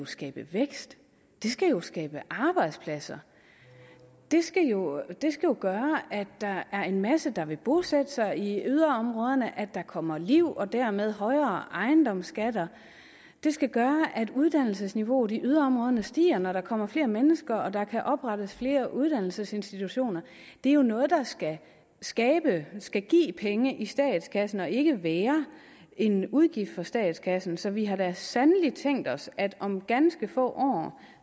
skabe vækst det skal jo skabe arbejdspladser det skal jo gøre at der er en masse der vil bosætte sig i yderområderne og at der kommer liv og dermed højere ejendomsskatter det skal gøre at uddannelsesniveauet i yderområderne stiger når der kommer flere mennesker og der kan oprettes flere uddannelsesinstitutioner det er jo noget der skal skabe skal give penge i statskassen og ikke være en udgift for statskassen så vi har da sandelig tænkt os at det om ganske få år